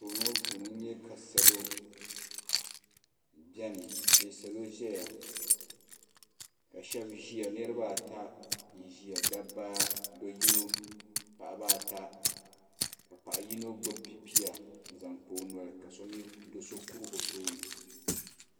Anfooni ŋɔ puuni n nya ka salo biɛni ka sheba ʒia bɛ niriba ata n ʒia do'yino paɣaba ata ka paɣa yino gbibi pipia n zaŋ kpa o noli ka do'so kuri o tooni.